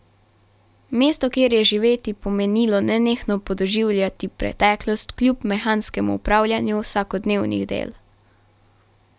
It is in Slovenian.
Mesto, kjer je živeti pomenilo nenehno podoživljati preteklost kljub mehanskemu opravljanju vsakodnevnih del.